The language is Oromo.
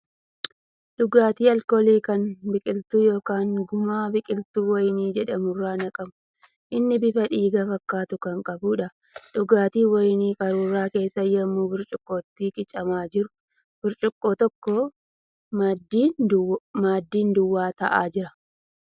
Dhugaatii alkoolii kan biqiltuu yookan gumaa biqiltuu wayinii jedhamu irraa naqamu. Inni bifa dhiiga fakkaatu kan qabuudha. Dhugaatiin wayinii qaruura keessaa yemmuu burcuqqootti qicamaa jiru. Burcuqqoo tokko maddiin duwwaa taa'aa jira.